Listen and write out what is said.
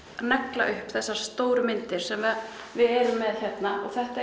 negla upp þessar stóru myndir sem við erum með hérna þetta